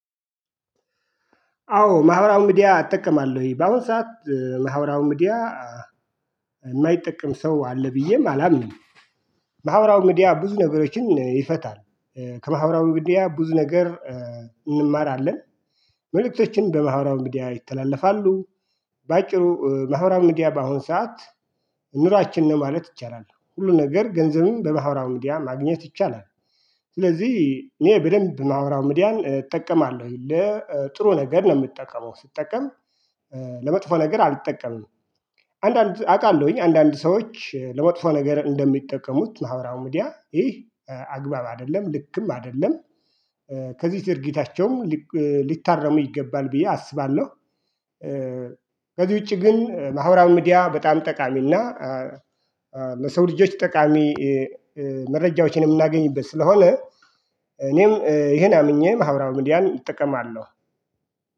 አዎ ማህበራዊ ሚዲያ እጠቀማለሁ በአሁን ሰዓት ማህበራዊ ሚዲያ የማይጠቀም ሰው አለ ብዬም አላምንም ማህበራዊ ምድያ ብዙ ነገሮችን ይፈታል ከማህበራዊ ምድያ ብዙ ነገር እንማራለን መልእክቶችን በማሃበራዊ ምድያ ይተላለፋሉ በአጭሩ ማህበራዊ ምድያ በአሁን ሰዓት ኑሯችን ማለት ይቻላል ሁሉ ነገር ገንዘብን በማህበራዊ ምድያ ማግኘት ይቻላል ስለዚህ እኔ በደንብ ማህቀራዊ ምድያን እጠቀማለሁ ለ ጥሩ ነገር ነው የምጠቀመው ስጠቀም ለመጥፎ ነገር አልጠቀምም አንዳንድ አውቃለሁኝ አንዳንድ ሰዎች ለመጥፎ ነገር እንደሚጠቀሙት ማህበራራዊ ምድያ ይህ አግባብ አይደለም ልክም አይደለም ከዚህ ድርጊታቸውም ሊታረሙ ይገባል ብዬ አስባለሁ ከዚህ ውጪ ግን ማህበራዊ ሚዲያ በጣም ጠቃሚና ለሰው ልጆች ጠቃሚ መረጃዎችን የምናገኝበት ስለሆነ እኔም ይሄን አምኜ ማህበራዊ ምድያን እጠቀማለ።